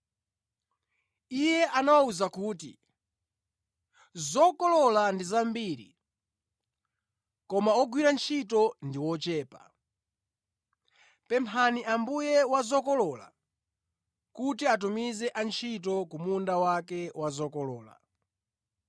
Iye anawawuza kuti, “Zokolola ndi zambiri, koma ogwira ntchito ndi ochepa. Pemphani Ambuye wa zokolola, kuti atumize antchito ku munda wake wa zokolola.